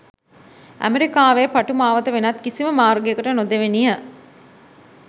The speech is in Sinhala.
ඇමෙරිකාවේ පටු මාවත වෙනත් කිසිම මාර්ගයකට නොදෙවෙනිය.